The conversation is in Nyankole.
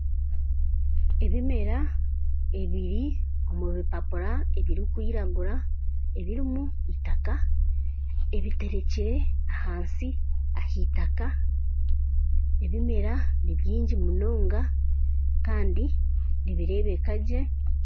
Ebimera ebiri omubipapura ebiri kwiragura ebirimu itaka ebiterekyire ahansi ahitaka, ebimera nibyingi munonga Kandi nibirebekagye.